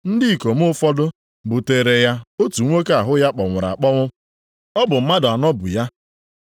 Ndị ikom ụfọdụ buteere ya otu nwoke ahụ ya kpọnwụrụ akpọnwụ. Ọ bụ mmadụ anọ bu ya.